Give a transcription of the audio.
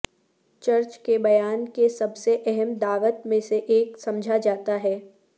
church کے بیان کے سب سے اہم دعوت میں سے ایک سمجھا جاتا ہے